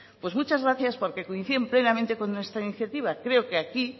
pues muchas gracias porque coinciden plenamente con nuestra iniciativa creo que aquí